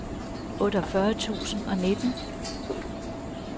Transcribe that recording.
otteogfyrre tusind og nitten